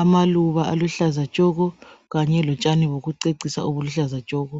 amaluba aluhlaza tshoko kanye lotshani bokucecisa obuluhlaza tshoko